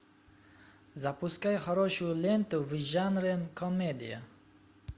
запускай хорошую ленту в жанре комедия